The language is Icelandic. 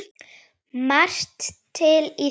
Margt til í þessu.